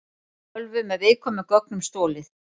Tölvu með viðkvæmum gögnum stolið